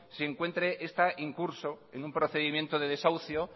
se encuentren en curso en un procedimiento de desahucio